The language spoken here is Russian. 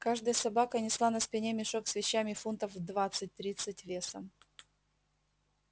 каждая собака несла на спине мешок с вещами фунтов в двадцать тридцать весом